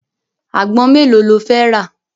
Àgbọn mélòó lo fẹ́ rà?